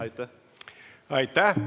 Aitäh!